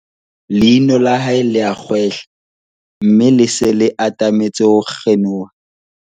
leino la hae le a kgwehla mme le se le atametse ho kgenoha